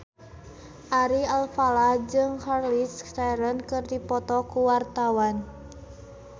Ari Alfalah jeung Charlize Theron keur dipoto ku wartawan